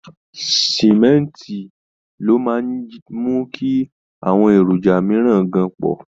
Símẹ́ǹtì ló máa ń mú kí àwọn èròjà mìíràn gan papọ̀